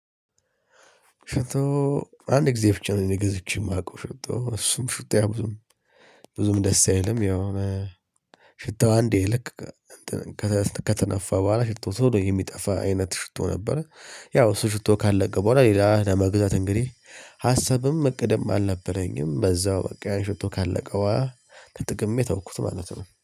ሽቶ አንድ ጊዜ ብቻ ነው ገዝቼ የማውቀው ሽቶ እሱም ሽታው ያ ብዙም ብዙም ደስ አይልም። ያው ሽቶ አንዴ ልክ ከተነፋ በኋላ ሽቶ ቶሎ የሚጠፋ አይነት ሽቶ ነበረ። ያው እሱ ሽቶ ካለቀ በኋላ ሌላ ለመግዛት እንግዲህ ሀሳብም እቅድም አልነበረኝም። በዛው በቃ ሽቶ ካለቀ ተጠቅሜ ተውኩት ማለት ነው